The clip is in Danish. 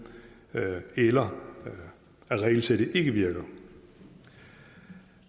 eller at regelsættet ikke virker